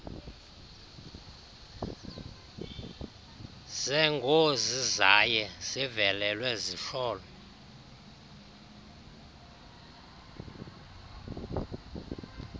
zeengozizaye zivelelwe zihlolwe